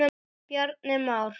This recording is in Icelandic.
Bjarni Már.